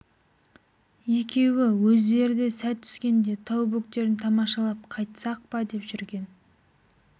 екеуі өздері де сәт түскенде тау бөктерін тамашалап қайтсақ па деп жүрген